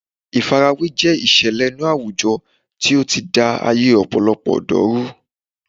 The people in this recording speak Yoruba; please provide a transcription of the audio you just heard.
Ìfarawé jẹ́ ìṣẹ̀lẹ̀ inú àwùjọ tí ó ti da ayé ọ̀pọ̀lọpọ̀ ọ̀dọ́ rú